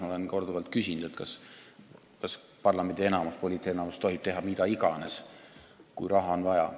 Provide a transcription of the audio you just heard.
Ma olen korduvalt küsinud, kas parlamendi enamus, poliitenamus tohib teha mida iganes, kui raha on vaja.